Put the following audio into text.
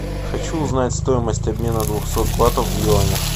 хочу узнать стоимость обмена двухсот батов в юанях